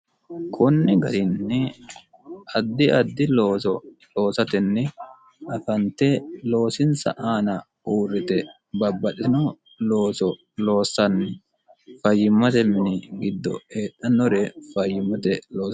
kunni garinni addi addi looso loosatenni afante loosinsa aana uurrite babbadino looso loossanni fayyimmote mini giddo heedhannore fayyimmote oo